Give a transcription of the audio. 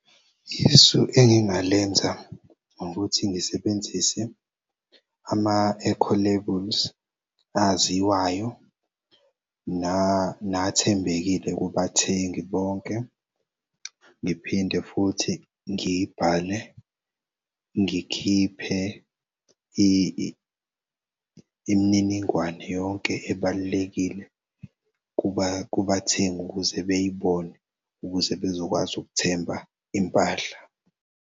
Isu engingalenza ngokuthi ngisebenzise ama-eco labels aziwayo nathembekile kubathengi bonke. Ngiphinde futhi ngibhale ngikhiphe imininingwane yonke ebalulekile kubathengi ukuze beyibone, ukuze bezokwazi ukuthemba impahla.